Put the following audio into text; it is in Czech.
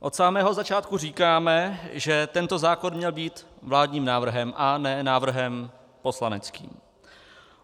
Od samého začátku říkáme, že tento zákon měl být vládním návrhem a ne návrhem poslaneckým.